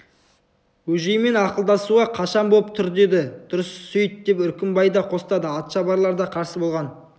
бөжеймен ақылдасуға қашан боп түр деді дұрыс сүйт деп үркімбай да қостады атшабарлар да қарсы болған